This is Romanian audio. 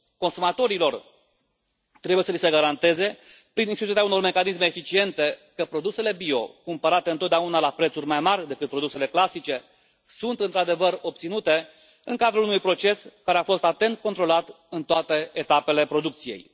Consumatorilor trebuie să li se garanteze, prin instituirea unor mecanisme eficiente, că produsele bio, cumpărate întotdeauna la prețuri mai mari decât produsele clasice, sunt într adevăr obținute în cadrul unui proces care a fost atent controlat în toate etapele producției.